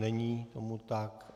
Není tomu tak.